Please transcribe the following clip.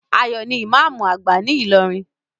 Ayo ní imamu agba ní ilorin